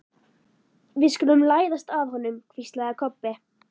Við skulum læðast að honum, hvíslaði Kobbi.